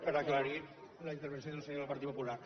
per aclarir la intervenció del senyor del partit popular